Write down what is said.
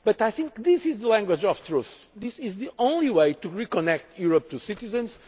But I think this is the language of truth. This is the only way to reconnect Europe to citizens